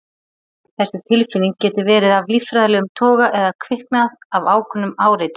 Þessi tilfinning getur verið af líffræðilegum toga eða kviknað af ákveðnum áreitum.